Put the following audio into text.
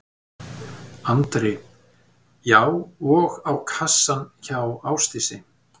Andri: Já og á kassann hjá Ásdísi?